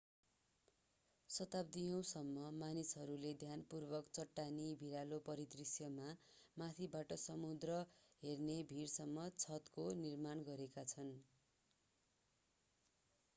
शताब्दियौँसम्म मानिसहरूले ध्यानपूर्वक चट्टानी भिरालो परिदृष्यमा माथिबाट समुद्र हेर्ने भिरसम्म छतको निर्माण गरेका छन्